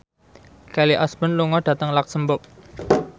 Kelly Osbourne lunga dhateng luxemburg